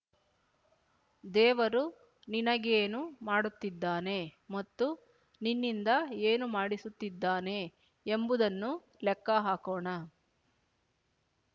ದೇವರು ನಿನಗೇನು ಮಾಡುತ್ತಿದ್ದಾನೆ ಮತ್ತು ನಿನ್ನಿಂದ ಏನು ಮಾಡಿಸುತ್ತಿದ್ದಾನೆ ಎಂಬುದನ್ನು ಲೆಕ್ಕ ಹಾಕೋಣ